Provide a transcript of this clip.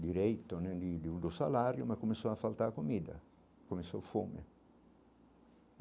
direito né e de um do salário, mas começou a faltar comida, começou fome.